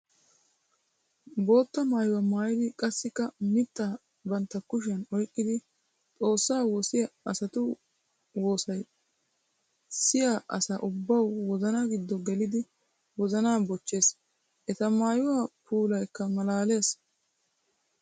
Bootta maayuwa maayidi qassikka mittaa bantta kushiyan oyqqiddi Xoossa woosiya asatu woosay siya asa ubbawu wozana gido geliddi wozana bochchees. Eta maayuwa puulaykka malaalees.